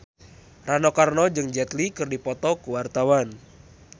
Rano Karno jeung Jet Li keur dipoto ku wartawan